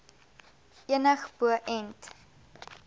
enig bo ent